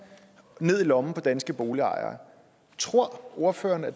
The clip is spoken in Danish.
ned i lommen på danske boligejere tror ordføreren at